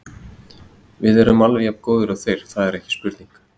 Við erum alveg jafn góðir og þeir, það er engin spurning.